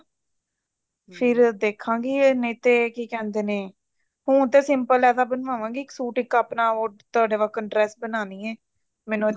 ਫ਼ੇਰ ਦੇਖਾਂਗੇ ਨਹੀਂ ਤੇ ਕੀ ਕਹਿੰਦੇ ਨੇ ਉਹ ਤੇ simple ਲੈਦਾ ਬਣਵਾਵਾਂਗੀ ਸੂਟ ਇੱਕ ਆਪਣਾ ਉਹ ਤੁਹਾਡੇ ਕੋਲੋਂ dress ਬਣਵਾਉਣੀ ਹੈ ਮੈਨੂੰ ਅੱਛੀ